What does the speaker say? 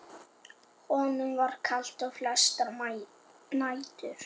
Honum var kalt flestar nætur.